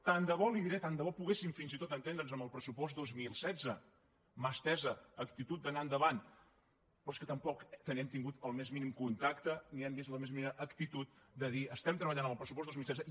tant de bo li diré tant de bo poguéssim fins i tot entendre’ns amb el pressupost dos mil setze mà estesa actitud d’anar endavant però és que tampoc hem tingut el més mínim contacte ni hem vist la més mínima actitud de dir estem treballant en el pressupost dos mil setze